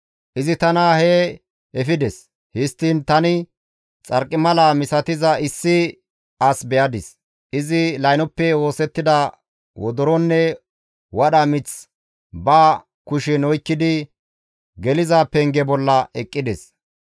Izi tana hee efides; histtiin tani xarqimala misatiza issi as be7adis; izi laynoppe oosettida wodoronne wadha mith ba kushen oykkidi geliza penge bolla eqqides.